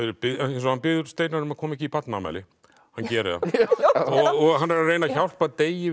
eins og hann biður Steinar um að koma ekki í barnaafmæli hann gerir það og hann er að reyna að hjálpa Degi